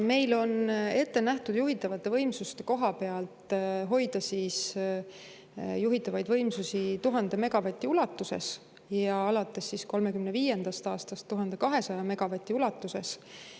Meil on ette nähtud juhitavate võimsuste koha pealt hoida juhitavaid võimsusi 1000 megavati ulatuses ja alates 2035. aastast 1200 megavati ulatuses.